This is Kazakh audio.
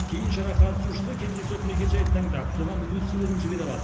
кейін шара қатысушысы кездейсоқ мекенжайды таңдап соған өз сыйлығын жібере алады